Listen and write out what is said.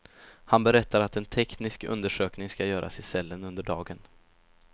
Han berättar att en teknisk undersökning ska göras i cellen under dagen.